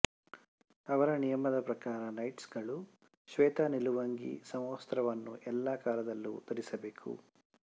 ಅವರ ನಿಯಮ ದ ಪ್ರಕಾರ ನೈಟ್ಸ್ ಗಳು ಶ್ವೇತ ನಿಲುವಂಗಿ ಸಮವಸ್ತ್ರವನ್ನು ಎಲ್ಲಾ ಕಾಲದಲ್ಲೂ ಧರಿಸಬೇಕು